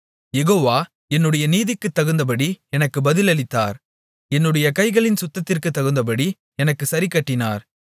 யெகோவா என்னுடைய நீதிக்குத்தகுந்தபடி எனக்குப் பதிலளித்தார் என்னுடைய கைகளின் சுத்தத்திற்குத்தகுந்தபடி எனக்குச் சரிக்கட்டினார்